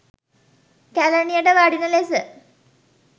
කැලණියට වඩින ලෙස